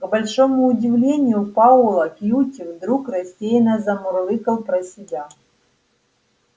к большому удивлению пауэлла кьюти вдруг рассеянно замурлыкал про себя